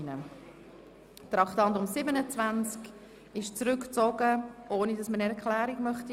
Das Traktandum 27 ist zurückgezogen worden, ohne dass der Motionär eine Erklärung abgeben möchte.